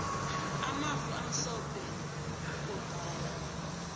amafu amhlophe mgombala